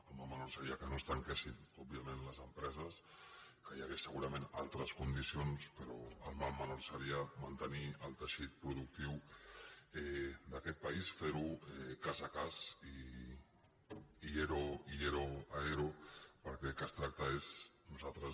el mal menor seria que no es tanquessin òbvia·ment les empreses que hi hagués segurament altres condicions però el mal menor seria mantenir el tei·xit productiu d’aquest país fer·ho cas a cas i ero a ero perquè del que es tracta és nosaltres